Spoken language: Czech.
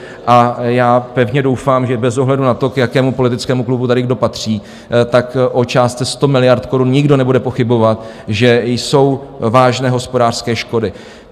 A já pevně doufám, že bez ohledu na to, k jakému politickému klubu tady kdo patří, tak o částce 100 miliard korun nikdo nebude pochybovat, že jsou vážné hospodářské škody.